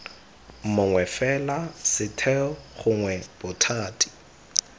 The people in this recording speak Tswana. mongwe fela setheo gongwe bothati